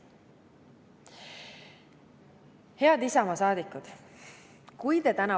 Head Isamaa saadikud!